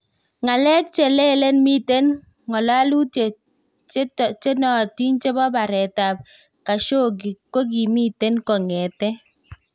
Ngalek chelelen miten ngololutiet che taatin che bo bareet ab Khashoggi kokimiten kongeten